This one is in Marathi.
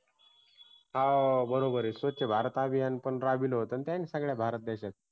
हा बरोबरय स्वच्छ भारत अभियान राबिवले होतं ना त्यांनी सगळया भारत देशात